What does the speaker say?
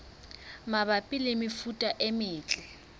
mabapi le mefuta e metle